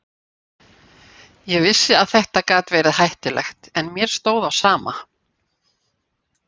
Ég vissi að þetta gat verið hættulegt en mér stóð á sama.